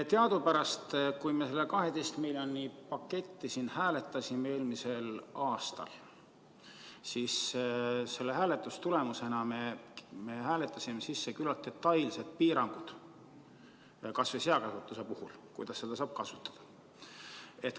Teadupärast, kui me seda 12 miljoni paketti siin eelmisel aastal hääletasime, siis me hääletasime sisse küllalt detailsed piirangud kas või seakasvatuse puhul, kuidas seda saab kasutada.